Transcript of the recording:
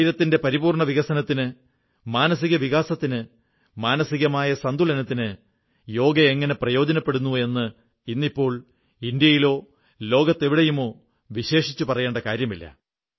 ശരീരത്തിന്റെ പരിപൂർണ്ണ വികസനത്തിന് മാനസിക വികസനത്തിന് മാനസികമായ സന്തുലനത്തിന് യോഗ എങ്ങനെ പ്രയോജനപ്പെടുന്നു എന്ന് ഇന്നിപ്പോൾ ഇന്ത്യയിലോ ലോകത്തെവിടെയുമോ വിശേഷിച്ച് പറയേണ്ട കാര്യമില്ല